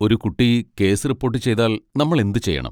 ഒരു കുട്ടി case report ചെയ്താൽ നമ്മൾ എന്തുചെയ്യണം?